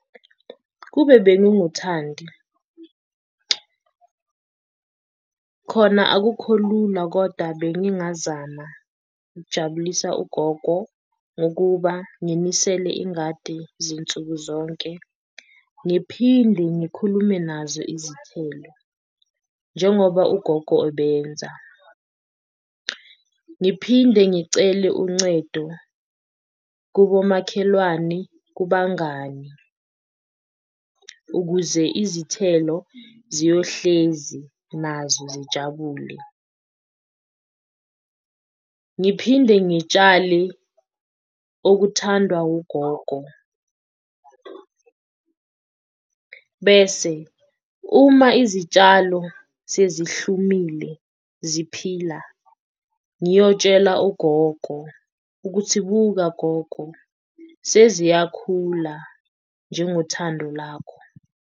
Kube benginguThandi khona akukho lula koda bengingazama ukujabulisa ugogo ngokuba nginisele ingadi zinsuku zonke, ngiphinde ngikhulume nazo izithelo njengoba ugogo obenza, ngiphinde ngicele uncedo kubomakhelwane kubangani ukuze izithelo ziyohlezi nazo zijabule. Ngiphinde ngitshale okuthandwa ugogo bese uma izitshalo sezihlumile ziphila ngiyotshela ugogo ukuthi, buka gogo seziyakhula njengothando lakho.